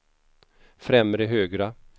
främre högra